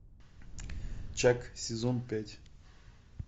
чак сезон пять